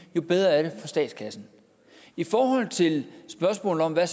jo bedre er det for statskassen i forhold til spørgsmålet om hvad